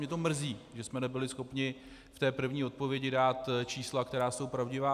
Mě to mrzí, že jsme nebyli schopni v té první odpovědi dát čísla, která jsou pravdivá.